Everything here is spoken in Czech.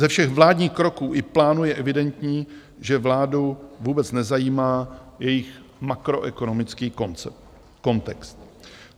Ze všech vládních kroků i plánů je evidentní, že vládu vůbec nezajímá jejich makroekonomický kontext.